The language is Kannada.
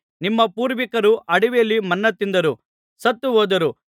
ನಿಮ್ಮ ಪೂರ್ವಿಕರು ಅಡವಿಯಲ್ಲಿ ಮನ್ನಾ ತಿಂದರೂ ಸತ್ತು ಹೋದರು